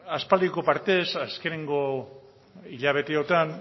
aspaldiko partez azkeneko hilabeteotan